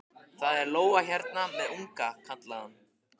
Það er lóa hérna með unga, kallaði hann.